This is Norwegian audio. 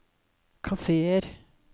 kafeer